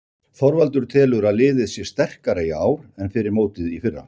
Þorvaldur telur að liðið sé sterkara í ár en fyrir mótið í fyrra.